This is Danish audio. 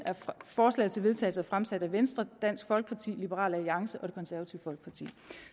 forslaget til vedtagelse er fremsat af venstre dansk folkeparti liberal alliance og det konservative folkeparti